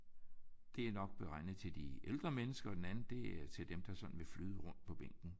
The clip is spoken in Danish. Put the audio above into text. Det er nok beregnet til de ældre mennesker og den anden det er til dem der sådan vil flyde rundt på bænken